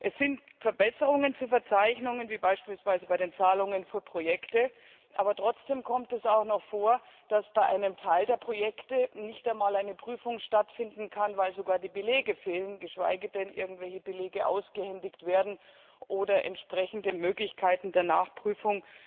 Es sind Verbesserungen, wie beispielsweise bei den Zahlungen für Projekte zu verzeichnen, aber trotzdem kommt es auch noch vor, dass bei einem Teil der Projekte nicht einmal eine Prüfung stattfinden kann, weil sogar die Belege fehlen, geschweige denn irgendwelche Belege ausgehändigt werden oder entsprechende Möglichkeiten der Nachprüfung